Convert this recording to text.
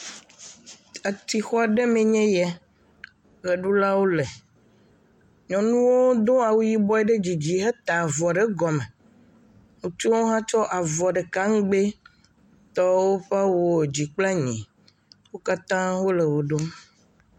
Etsixɔ ɖe mee nye ya ʋeɖulawo le. Nyɔnuwo do awu yibɔ ɖe dzi dzi heta avɔ ɖe gɔme. Ŋutsua hã tsɔ avɔ ɖeka ŋgbi tɔ woƒe awuwo dzi kple anyi. Wo katã wo le ʋe ɖum.